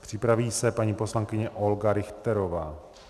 Připraví se paní poslankyně Olga Richterová.